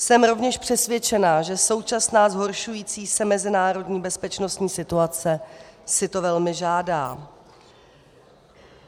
Jsem rovněž přesvědčena, že současná zhoršující se mezinárodní bezpečností situace si to velmi žádá.